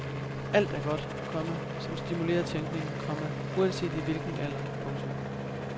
Alt er godt, komma som stimulerer tænkningen, komma uanset i hvilken alder. punktum